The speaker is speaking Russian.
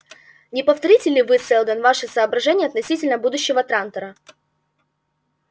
не повторите ли вы сэлдон ваши соображения относительно будущего трантора